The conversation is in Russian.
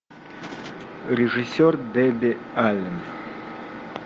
режиссер дебби аллен